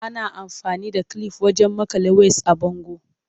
Ana amfani da kilif wajen maƙale ways a bango.